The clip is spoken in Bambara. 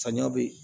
Samiya bɛ yen